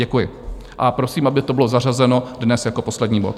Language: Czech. Děkuji a prosím, aby to bylo zařazeno dnes jako poslední bod.